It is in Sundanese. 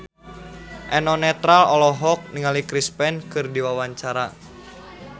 Eno Netral olohok ningali Chris Pane keur diwawancara